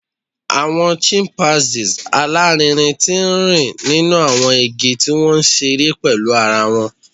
Awọn chimpanzees alarinrin ti nrin ninu awọn igi ti wọn nṣere pẹlu ara wọn